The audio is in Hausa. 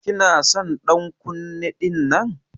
Kina son ɗan kunne ɗinnan?